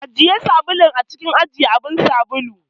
Ajiye sabulun a cikin abun ajiye sabulu.